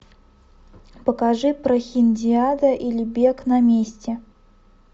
покажи прохиндиада или бег на месте